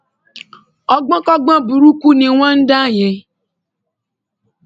ọgbọnkọgbọn burúkú ni wọn ń dá yẹn